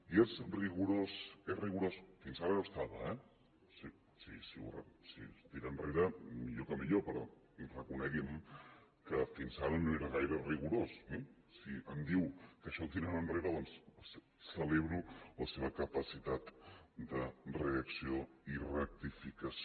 i és rigorós és rigorós fins ara hi era eh si es tira enrere millor que millor però reconegui’m que fins ara no era gaire rigorós eh si em diu que això ho tiraran enrere doncs celebro la seva capacitat de reacció i rectificació